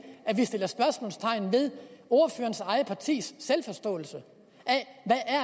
at vi sætter spørgsmålstegn ved ordførerens eget partis selvforståelse